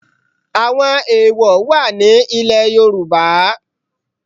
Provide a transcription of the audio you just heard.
Àwọn èèwọ̀ wà ní ilẹ̀ Yorùbá